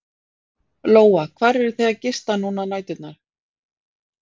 Lóa: Hvar eruð þið að gista núna á næturnar?